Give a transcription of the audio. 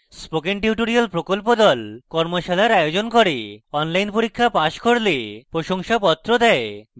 spoken tutorial প্রকল্প the কর্মশালার আয়োজন করে এবং online পরীক্ষা pass করলে প্রশংসাপত্র দেয়